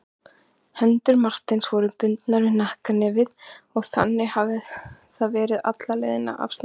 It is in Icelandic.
Hendur Marteins voru bundnar við hnakknefið og þannig hafði það verið alla leiðina af Snæfellsnesi.